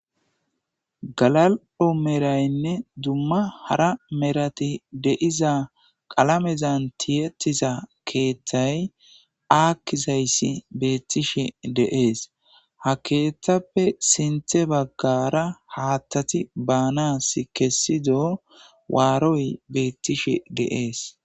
Gala'o merayinne hara merati de'iza qlamezan tihetida keththay akizays betishshe de'es ha keththappe sinththa bagara haththati baanas kesido waroy bettishsh de'es